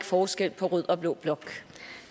forskel på rød og blå blok